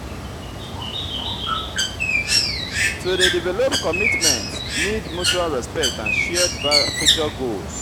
to dey develop commitment need mutual respect and shared future goals.